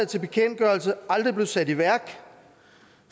til bekendtgørelse aldrig blev sat i værk